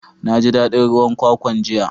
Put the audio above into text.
Na ji dadin ruwan kwakwan jiya.